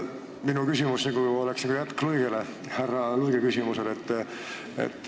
Minu küsimus on just nagu jätk härra Luige küsimusele.